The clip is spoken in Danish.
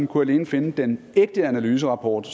kunne alene finde den ægte analyserapport